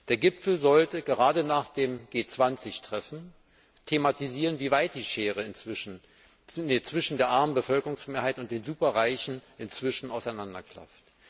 Der Gipfel sollte gerade nach dem G20 Treffen thematisieren, wie weit die Schere zwischen der armen Bevölkerungsmehrheit und den Superreichen inzwischen auseinanderklafft.